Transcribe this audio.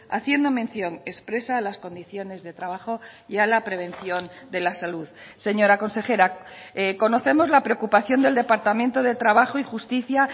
haciendo mención expresa a las condiciones de trabajo y a la prevención de la salud señora consejera conocemos la preocupación del departamento de trabajo y justicia